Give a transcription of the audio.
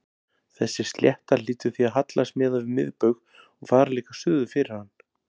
Þessi slétta hlýtur því að hallast miðað við miðbaug og fara líka suður fyrir hann.